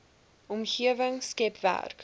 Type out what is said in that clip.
omgewing skep werk